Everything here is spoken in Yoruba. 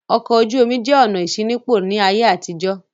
Ọkọ̀ ojú-omi jẹ́ ọ̀nà ìṣínípò ní ayé àtijó.